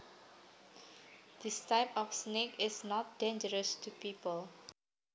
This type of snake is not dangerous to people